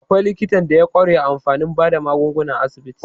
Akwai likitan da ya ƙware a fannin bada magunguna a asibiti.